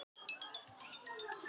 Eitt besta veiðisumarið frá upphafi